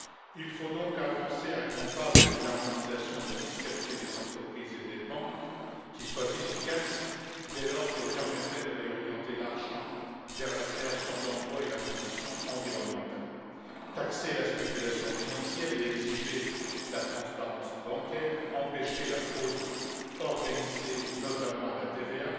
Il faut donc avancer à grands pas vers une harmonisation de la fiscalité des entreprises et des banques qui soit efficace, dès lors qu'elle permettrait de réorienter l'argent vers la création d'emplois et la transition environnementale taxer la spéculation financière, exiger la transparence bancaire et empêcher la fraude organisée, notamment à la TVA.